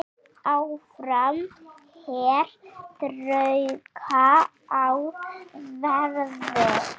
Áfram hér þrauka á verði.